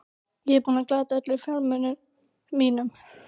Ég er búinn að glata öllum fjármunum mínum.